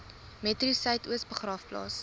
metro suidoos begraafplaas